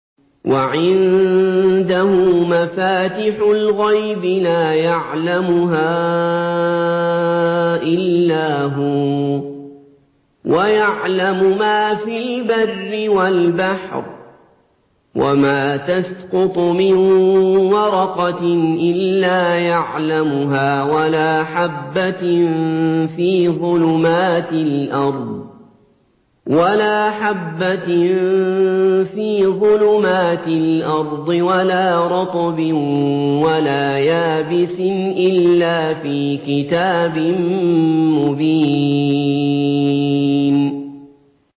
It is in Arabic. ۞ وَعِندَهُ مَفَاتِحُ الْغَيْبِ لَا يَعْلَمُهَا إِلَّا هُوَ ۚ وَيَعْلَمُ مَا فِي الْبَرِّ وَالْبَحْرِ ۚ وَمَا تَسْقُطُ مِن وَرَقَةٍ إِلَّا يَعْلَمُهَا وَلَا حَبَّةٍ فِي ظُلُمَاتِ الْأَرْضِ وَلَا رَطْبٍ وَلَا يَابِسٍ إِلَّا فِي كِتَابٍ مُّبِينٍ